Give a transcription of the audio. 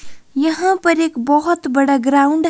यहां पर एक बहोत बड़ा ग्राउंड --